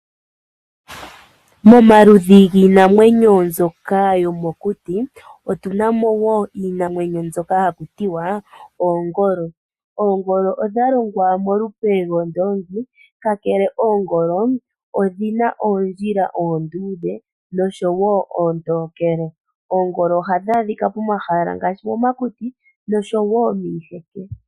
Momaludhi giinamwenyo mbyoka yomokuti omwa kwatelwa oongolo. Oongolo odha shitwa molupe lwoondoongi, ihe oongolo odhi na oondjila oonduudhe noontokele. Oongolo ohadhi adhika momakuti nosho wo miiheke.